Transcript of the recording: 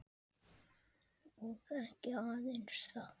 Og ekki aðeins það.